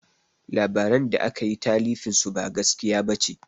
Labaran da akayi talifin su ba gaskiya ɓace